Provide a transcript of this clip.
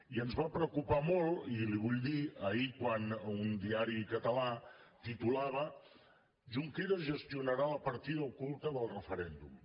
i ens va preocupar molt i li ho vull dir ahir quan un diari català titulava junqueras gestionarà la partida oculta del referèndum